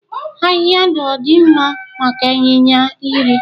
Ahịhịa ndụ ọ dị mma maka ịnyịnya iri?